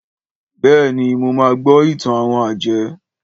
Béèni, mo ma gbó ìtàn àwon àjẹ́.